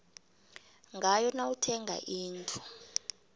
ngayo nawuthenga indlu